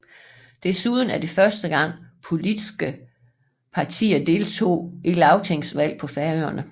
Desuden var det første gang politske partier deltog i lagtingsvalg på Færøerne